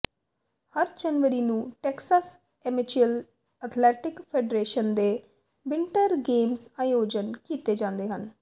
ਹਰ ਜਨਵਰੀ ਨੂੰ Texas amateur athletic federation ਦੇ ਵਿੰਟਰ ਗੇਮਜ਼ ਆਯੋਜਤ ਕੀਤੇ ਜਾਂਦੇ ਹਨ